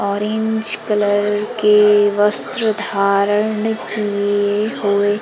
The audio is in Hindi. ऑरेंज कलर के वस्त्र धारण किए हुए--